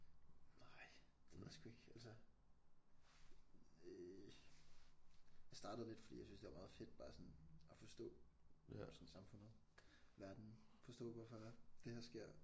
Nej det ved jeg sgu ikke altså øh jeg startede lidt fordi jeg synes det var meget fedt bare sådan at forstå sådan samfundet verden forstå hvorfor det her sker